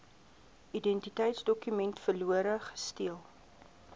identiteitsdokument verlore gesteel